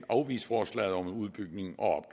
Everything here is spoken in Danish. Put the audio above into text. afvise forslaget om en udbygning og